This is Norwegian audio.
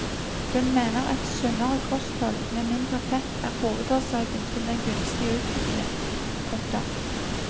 Hun mener et sunnere kosthold med mindre fett er hovedårsaken til den gunstige utvikling. punktum